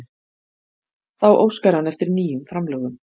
Þá óskar hann eftir nýjum framlögum